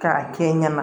K'a kɛ n ɲɛna